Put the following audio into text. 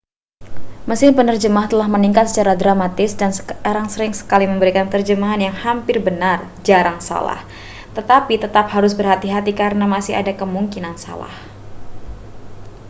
mesin penerjemah telah meningkat secara dramatis dan sekarang sering kali memberikan terjemahan yang hampir benar jarang salah tetapi tetap harus hati-hati karena masih ada kemungkinan salah